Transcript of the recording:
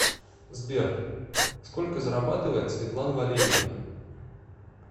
сбер сколько зарабатывает светлана валерьевна